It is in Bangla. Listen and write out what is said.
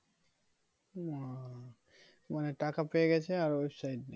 ও উম মানে টাকা পেয়ে গেছে আর website